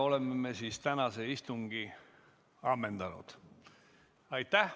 Oleme tänase istungi ammendanud.